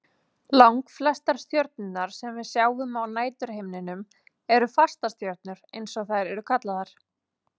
Langflestar stjörnurnar sem við sjáum á næturhimninum eru fastastjörnur eins og þær eru kallaðar.